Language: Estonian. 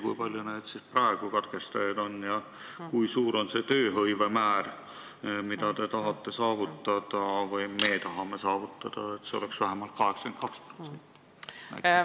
Kui palju neid katkestajaid praegu on ja mida te arvate tööhõive määrast, mida te tahate või me tahame saavutada, et see oleks vähemalt 82%?